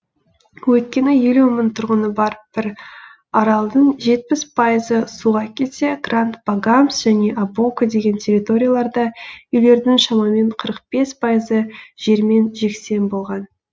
өйткені елу мың тұрғыны бар бір аралдың жетпіс пайызы суға кетсе гранд багамс және абоко деген территорияларда үйлердің шамамен қырық бес пайызы жермен жексен болған